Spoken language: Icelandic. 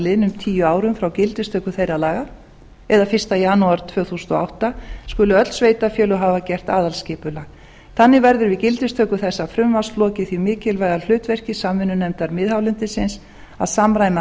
liðnum tíu árum frá gildistöku þeirra laga eða fyrsta janúar árið tvö þúsund og átta skuli öll sveitarfélög hafa gert aðalskipulag þannig verður við gildistöku þessa frumvarps lokið því mikilvæga hlutverki samvinnunefndar miðhálendisins að samræma aðalskipulag